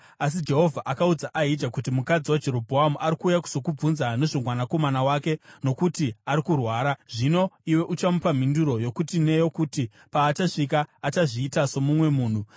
Asi Jehovha akaudza Ahija kuti, “Mukadzi waJerobhoamu ari kuuya kuzokubvunza nezvomwanakomana wake, nokuti ari kurwara. Zvino iwe uchamupa mhinduro yokuti neyokuti. Paachasvika achazviita somumwe munhu.”